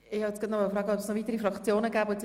Es haben sich bereits Einzelsprecher angemeldet.